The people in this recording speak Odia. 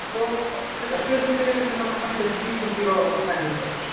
ତ ସେଟ ବି actually ସେମାନଙ୍କ ପାଇଁ ବେଶୀ ଖୁସିର କଥା ହେଇ ପାରୁଛି